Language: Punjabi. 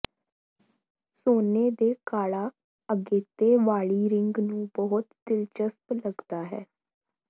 ਸੋਨੇ ਦੇ ਕਾਲਾ ਅਗੇਤੇ ਵਾਲੀ ਰਿੰਗ ਨੂੰ ਬਹੁਤ ਦਿਲਚਸਪ ਲੱਗਦਾ ਹੈ